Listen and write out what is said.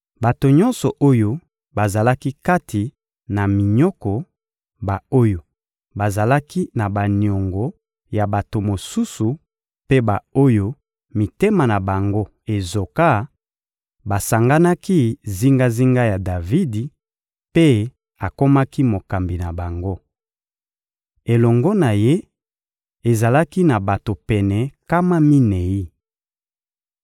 Bato nyonso oyo bazalaki kati na minyoko, ba-oyo bazalaki na baniongo ya bato mosusu mpe ba-oyo mitema na bango ezoka, basanganaki zingazinga ya Davidi mpe akomaki mokambi na bango. Elongo na ye, ezalaki na bato pene nkama minei.